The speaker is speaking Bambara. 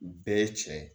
Bɛɛ ye cɛ ye